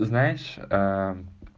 знаешь